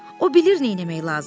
O bilir nə etmək lazımdır.